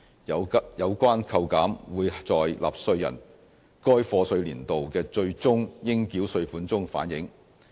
有關扣減會在納稅人該課稅年度的最終應繳稅款中反映。